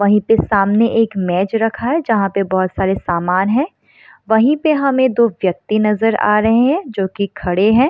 वहीं पे सामने एक मेज रखा है जहाँ पे बहुत सारे सामान हैं वहीं पे हमें दो व्यक्ति नज़र आ रहे हैं जोकि खड़े हैं।